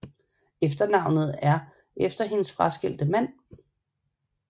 Efternavnet er efter hendes fraskilte mand